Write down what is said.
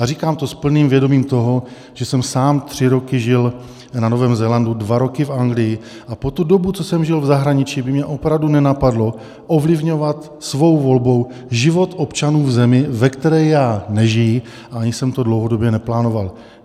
A říkám to s plným vědomím toho, že jsem sám tři roky žil na Novém Zélandu, dva roky v Anglii, a po tu dobu, co jsem žil v zahraničí, by mě opravdu nenapadlo ovlivňovat svou volbou život občanů v zemi, ve které já nežiji, a ani jsem to dlouhodobě neplánoval.